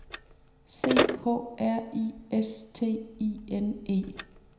C H R I S T I N E